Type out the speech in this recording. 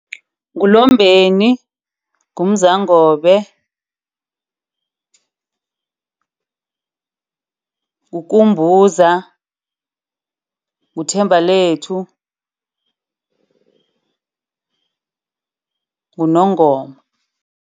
NguLombeni, nguMzangobe, nguKumbuza, nguThembalethu, nguNongoma.